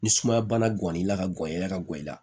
Ni sumaya bana gan'i la ka gɔ i la ka gɔ i la